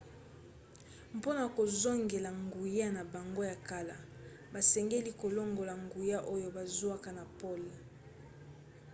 mpona kozongela nguya na bango ya kala basengeli kolongola nguya oyo bazwaka na pole